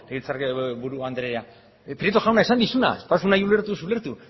legebiltzarkide buru andrea prieto jauna esan dizudana ez baduzu nahi ulertu ez ulertu